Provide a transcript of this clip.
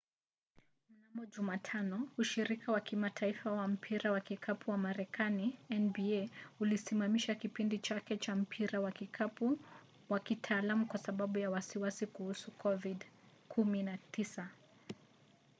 mnamo jumatano ushirika wa kitaifa wa mpira wa kikapu wa marekani nba ulisimamisha kipindi chake cha mpira wa kikapu wa kitaalamu kwa sababu ya wasiwasi kuhusu covid-19